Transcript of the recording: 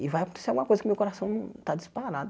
E vai acontecer alguma coisa que meu coração num tá disparado.